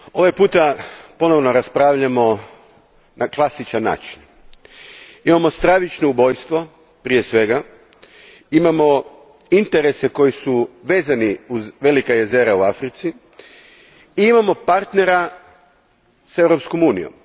Gospodine predsjedniče, ovaj put ponovno raspravljamo na klasičan način. Imamo stravično ubojstvo, prije svega. Imamo interese koji su vezani uz velika jezera u Africi i imamo partnera s Europskom unijom.